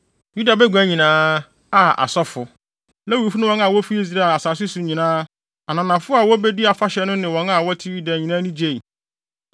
Yuda bagua nyinaa a asɔfo, Lewifo ne wɔn a wofi Israel asase so nyinaa, ananafo a wobedii afahyɛ no ne wɔn a na wɔte Yuda nyinaa ani gyei.